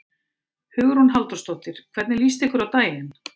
Hugrún Halldórsdóttir: Hvernig líst ykkur á daginn?